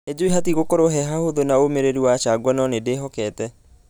Nĩjue hatigũkorwo he hahũthũ na ũmĩrĩru wa changwa nũ nĩndĩhokĩte.